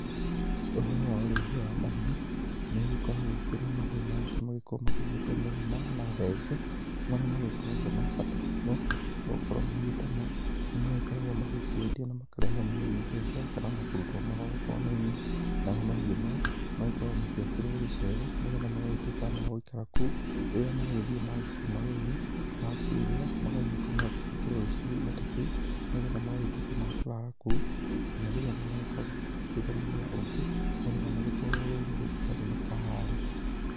Ũhoro wa ũrĩithia wa mahiũ, nĩ ũgĩkoragwo kwĩ na mahiũ mangĩ magĩkorwo magĩgĩtwo mũgoma na thenge, marĩa magĩkoragwo na bata mũno gũkorwo magĩtoma, nĩ magĩkoragwo magĩkĩendio na makarehera mũrĩmi mbeca kana kũrutwo magongona-inĩ, namo mahiũ maya magĩkorwo magĩakĩrwo gĩcegũ, nĩgetha magagĩtuĩka magũikara kũu, rĩrĩa magĩthiĩ makiuma rũru magakĩrĩa, magagĩũka magakĩhingĩrwo gĩcigo-inĩ ta kĩu, nĩgetha magagĩtuĩka ma kũrara kũu nginya rĩrĩa magagĩkorwo makĩhingũrĩrwo mũthenya ũngĩ, nĩgetha magĩtwarwo rũru rĩngĩ mathiĩ makahare.